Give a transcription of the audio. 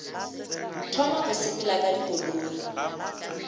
thoma go sepela ka dikoloi